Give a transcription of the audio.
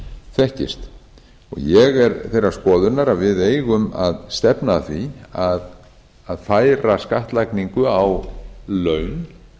þekkist ég er þeirrar skoðunar að við eigum að stefna að því að færa skattlagningu á laun